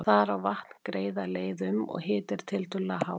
Þar á vatn greiða leið um, og hiti er tiltölulega hár.